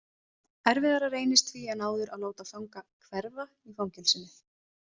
Erfiðara reynist því en áður að láta fanga „hverfa“ í fangelsinu.